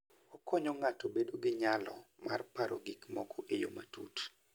Okonyo ng'ato bedo gi nyalo mar paro gik moko e yo matut.